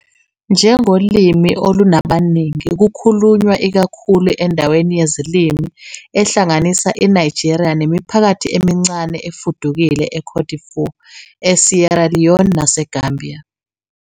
Njengolimi olunabaningi, kukhulunywa ikakhulu endaweni yezilimi ehlanganisa iNigeria nemiphakathi emincane efudukile eCote d'Ivoire, eSierra Leone naseGambia.